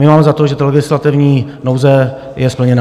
My máme za to, že ta legislativní nouze je splněna.